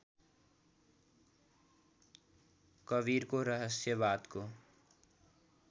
कवीरको रहस्यवादको